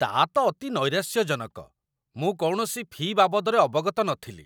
ତା' ତ ଅତି ନୈରାଶ୍ୟଜଣକ! ମୁଁ କୌଣସି ଫି' ବାବଦରେ ଅବଗତ ନଥିଲି।